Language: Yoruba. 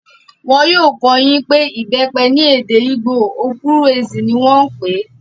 Wọn yóò kọ́ ọ yín pé ìbẹ́pẹ ní èdè ìgbò, okwuru-ezi ní wọ́n n pè é